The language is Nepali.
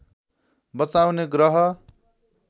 बचाउने ग्रह